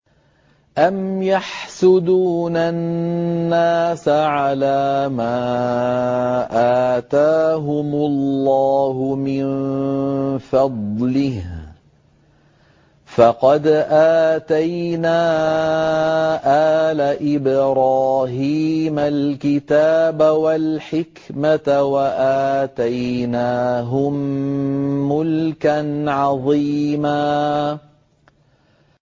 أَمْ يَحْسُدُونَ النَّاسَ عَلَىٰ مَا آتَاهُمُ اللَّهُ مِن فَضْلِهِ ۖ فَقَدْ آتَيْنَا آلَ إِبْرَاهِيمَ الْكِتَابَ وَالْحِكْمَةَ وَآتَيْنَاهُم مُّلْكًا عَظِيمًا